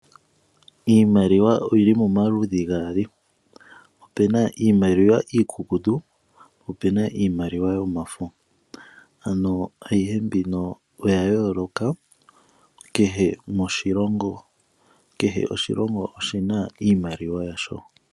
Iimaliwa oyili pamaludhi gaali. Opuna iiimaliwa iikukutu nosho wo yomafo. Iimaliwa oya yooloka kehe oshilongo oshina oshimaliwa shasho.